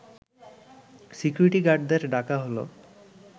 security গার্ডদের ডাকা হলো